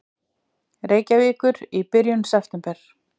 Reykjavíkur í byrjun september.